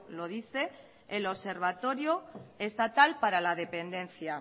lo dice el observatorio estatal para la dependencia